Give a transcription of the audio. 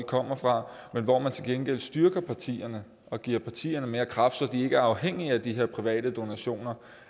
kommer fra men hvor man til gengæld styrker partierne og giver partierne mere kraft så de ikke er afhængige af de her private donationer